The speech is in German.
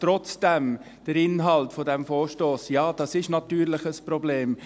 Trotzdem, der Inhalt dieses Vorstosses, ja, das ist natürlich ein Problem.